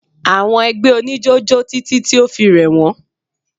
Àwọn ẹgbẹ́ oníjó jó títí tí o fi rẹ̀ wọ́n.